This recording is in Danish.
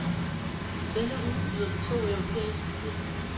Denne uge byder på to europæiske film.